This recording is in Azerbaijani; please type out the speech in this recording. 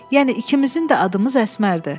Yəni ikimizin də adımız Əsmərdir.